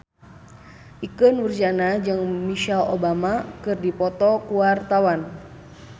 Ikke Nurjanah jeung Michelle Obama keur dipoto ku wartawan